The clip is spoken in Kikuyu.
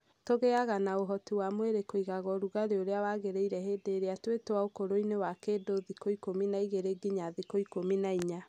Tũgĩaga na ũhoti wa mwĩrĩ kũigaga ũrugarĩ ũrĩa wagĩrĩire hĩndĩ ĩrĩa twĩ twa ũkũrũ-inĩ wa kĩndũ thikũ ikũmi na igĩrĩ nginya thikũ ikũmi na inya.